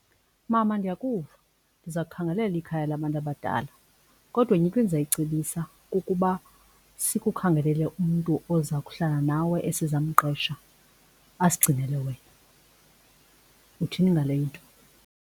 Mama, ndiyakuva. Ndiza kukhangelela ikhaya labantu abadala Kodwa enye into endizayicebisa kukuba sikukhangelele umntu ozakuhlala nawe esizamqeqesha asigcinele wena. Uthini ngale into?